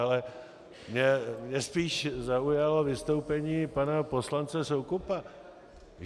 Ale mě spíš zaujalo vystoupení pana poslance Soukupa.